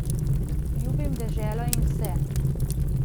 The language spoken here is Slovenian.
Ljubim deželo in vse.